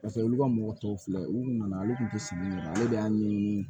Paseke olu ka mɔgɔ tɔw filɛ u nana olu tun tɛ si ɲɛna ale de y'a ɲɛɲini